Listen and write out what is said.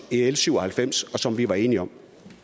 l syv og halvfems og som vi var enige om